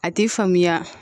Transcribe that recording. A ti faamuya